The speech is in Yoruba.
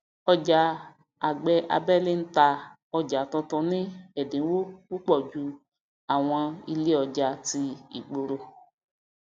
ọjà agbẹ abẹlé ń tà ọjà tuntun ní ẹdínwó púpọ ju àwọn ilé ọjà tí ìgboro